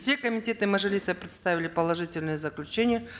все комитеты мажилиса представили положительные заключения